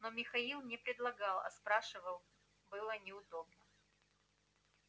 но михаил не предлагал а спрашивал было неудобно